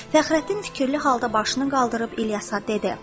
Fəxrəddin fikirli halda başını qaldırıb İlyasa dedi: